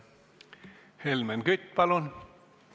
Helmen Kütt, palun!